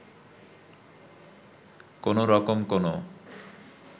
কোন রকম কোনও